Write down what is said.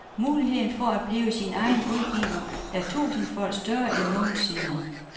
Muligheden for at blive sin egen udgiver er tusindfold større end nogensinde.